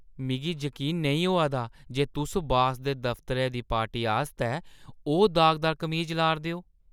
मिगी जकीन नेईं होआ दा जे तुस बास दे दफतरै दी पार्टी आस्तै ओह् दागदार कमीज ला 'रदे ओ।